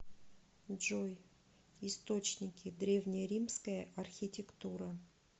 джой источники древнеримская архитектура